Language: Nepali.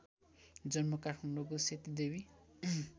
जन्म काठमाडौँको सेतीदेवी